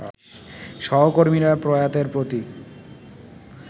সহকর্মীরা প্রয়াতের প্রতি